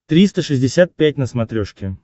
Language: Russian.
триста шестьдесят пять на смотрешке